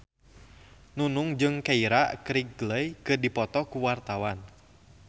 Nunung jeung Keira Knightley keur dipoto ku wartawan